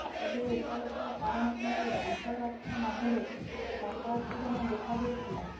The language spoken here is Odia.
ତେବେ ଉପରୋକ୍ତ କାରଣକୁ ନେଇ ଅଂଚଳବାସୀଙ୍କ ମଧ୍ୟରେ ଚାପା ଉତ୍ତେଜନା ଦେଖା ଦେଇଥିଲା